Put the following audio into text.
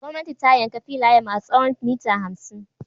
Gwamnati ta yanka filaye masu tsawon mita hamsin.